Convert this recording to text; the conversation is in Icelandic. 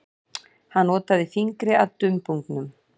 Hann otaði fingri að dumbungnum.